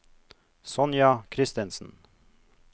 Sonja Kristensen